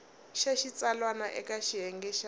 xa xitsalwana eka xiyenge xa